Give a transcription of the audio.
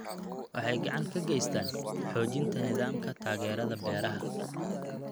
Waxay gacan ka geystaan ??xoojinta nidaamka taageerada beeraha.